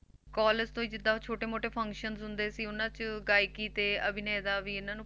College ਤੋਂ ਹੀ ਜਿੱਦਾਂ ਛੋਟੇ ਮੋਟੇ functions ਹੁੰਦੇ ਸੀ ਉਹਨਾਂ 'ਚ ਗਾਇਕੀ ਤੇ ਅਭਿਨੇ ਦਾ ਵੀ ਇਹਨਾਂ ਨੂੰ